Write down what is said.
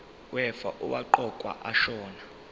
wefa owaqokwa ashona